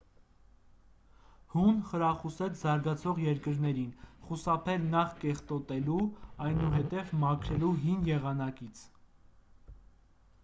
հուն խրախուսեց զարգացող երկրներին խուսափել նախ կեղտոտելու այնուհետև մաքրելու հին եղանակից